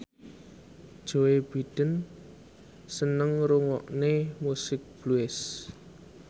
Joe Biden seneng ngrungokne musik blues